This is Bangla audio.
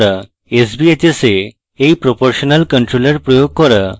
sbhs এ এই proportional controller প্রয়োগ করা